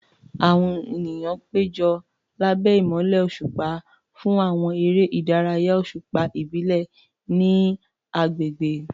Àwọn ènìyàn péjọ lábẹ́ ìmọ́lẹ̀ òṣùpá fún àwọn eré ìdárayá òṣùpá ìbílẹ̀ ní agbègbè.